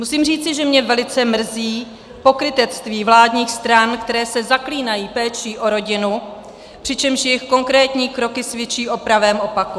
Musím říci, že mě velice mrzí pokrytectví vládních stran, které se zaklínají péčí o rodinu, přičemž jejich konkrétní kroky svědčí o pravém opaku.